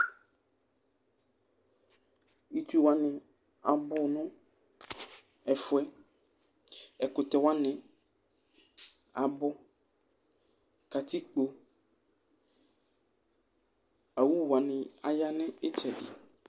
Itsuwani abù nu ɛfuɛ̃, ɛkutɛwani abù, katikpo, awúwani aya nu itsɛdi